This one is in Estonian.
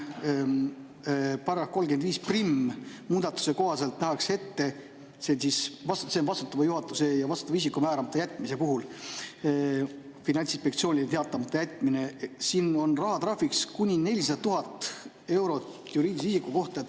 Paragrahvi 351 muudatuse kohaselt nähakse ette vastutava juhatuse liikme ja vastutava isiku määramata jätmise ja Finantsinspektsioonile teatamata jätmise puhul rahatrahviks kuni 400 000 eurot juriidilise isiku kohta.